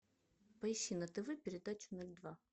поищи на тв передачу ноль два